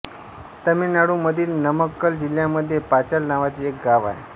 तमिळनाडूमधील नमक्कल जिल्ह्यामध्ये पाचाल नावाचे एक गाव आहे